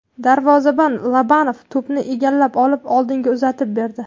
Darvozabon Lobanov to‘pni egallab olib, oldinga uzatib berdi.